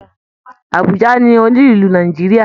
Àbújá ni olú ìlú Nàìjíríà